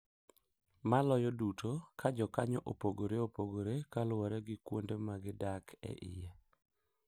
Maloyo duto, ka jokanyo opogore opogore kaluwore gi kuonde ma gidak e iye.